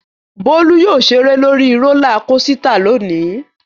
Bólú yóò ṣeré lórí rólá kosità lónìí.